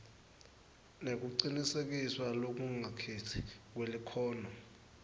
nekucinisekiswa lokungakhetsi kwelikhono